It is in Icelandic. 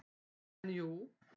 En jú.